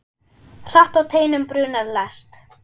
Hratt á teinum brunar lest.